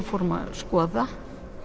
fórum að skoða